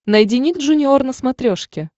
найди ник джуниор на смотрешке